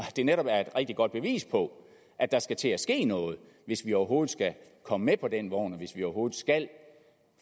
det netop er et rigtig godt bevis på at der skal til at ske noget hvis vi overhovedet skal komme med på den vogn og hvis vi overhovedet skal